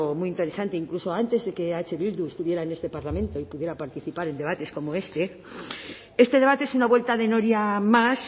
muy interesante incluso antes de que eh bildu estuviera en este parlamento y pudiera participar en debates como este este debate es una vuelta de noria más